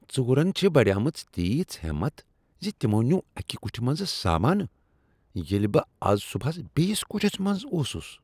ژوٗرن چھےٚ بڑیمٕژ تیٖژ ہمت زِ تمو نیوٗو اکہ کٹھِ منٛزٕ سامانہٕ ییٚلہ بہٕ بہٕ از صبحس بیٚیس کٹھس منٛز اوسس۔